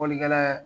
Fɔlikɛla